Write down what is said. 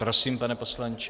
Prosím, pane poslanče.